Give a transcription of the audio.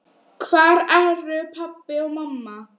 Hvar eru pabbi og mamma?